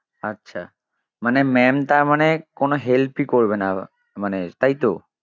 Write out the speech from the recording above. আচ্ছা মানে maam তার মানে কোনো help ই করবে না মানে তাই তো?